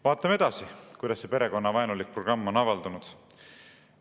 Vaatame edasi, kuidas see perekonnavaenulik programm on avaldunud.